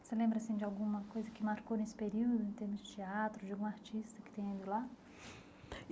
Você lembra assim de alguma coisa que marcou nesse período, em termos de teatro, de algum artista que tenha ido lá?